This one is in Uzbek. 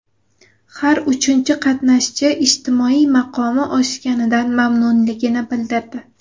Har uchinchi qatnashchi ijtimoiy maqomi oshganidan mamnunligini bildirdi.